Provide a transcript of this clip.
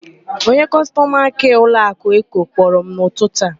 Onye kọstọma kịa ụlọakụ Eko kpọrọ m n'ụtụtụ a.